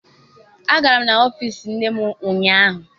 Agara m n'ọfịịsi nne m ụnyaahụ.